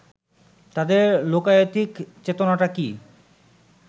তাদের লোকায়তিক চেতনাটা কি